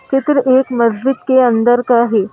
चित्र एक मस्जिद के अंदर का है।